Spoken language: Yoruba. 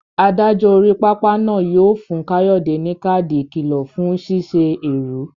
Adájọ́ orí pápá náà yóò fún Kayode ní káàdì ìkìlọ̀ fún ṣíṣe èrú.